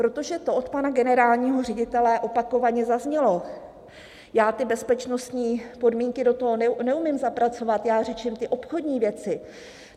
Protože to od pana generálního ředitele opakovaně zaznělo: Já ty bezpečnostní podmínky do toho neumím zapracovat, já řeším ty obchodní věci.